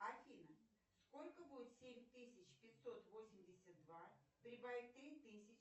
афина сколько будет семь тысяч пятьсот восемьдесят два прибавить три тысячи